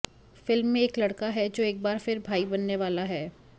film में एक लड़का है जो एक बार फिर भाई बनने वाला है